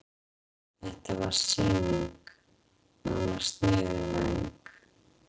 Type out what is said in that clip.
Þetta var sýning, nánast niðurlæging.